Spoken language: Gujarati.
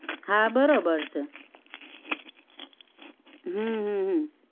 હા બરોબર છે હમ હ હ